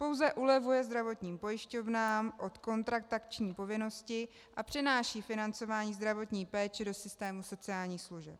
Pouze ulevuje zdravotním pojišťovnám od kontraktační povinnosti a přenáší financování zdravotní péče do systému sociálních služeb.